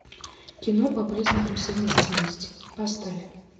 кино по признакам совместимости поставь